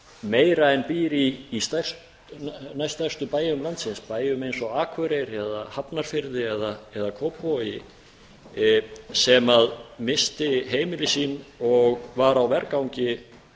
meira en býr í næststærstu bæjum landsins bæjum eins og akureyri hafnarfirði eða kópavogi sem missti heimili sín og var á vergangi